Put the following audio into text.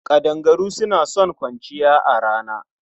Ƙadangaru suna son kwanciya a rana.